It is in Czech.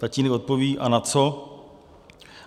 - Tatínek odpoví: A na co? -